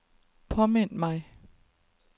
påmind mig